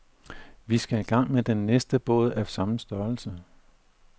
Vi skal i gang med den næste båd af samme størrelse.